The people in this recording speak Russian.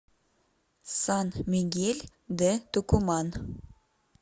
сан мигель де тукуман